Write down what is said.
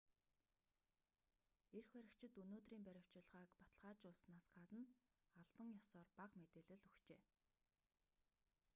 эрх баригчид өнөөдрийн баривчилгааг баталгаажуулсанаас гадна албан ёсоор бага мэдээлэл өгчээ